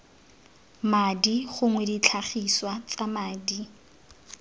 madi gongwe ditlhagiswa tsa madi